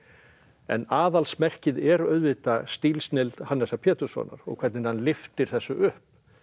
en aðalsmerkið er auðvitað stílsnilld Hannesar Péturssonar og hvernig hann lyftir þessu upp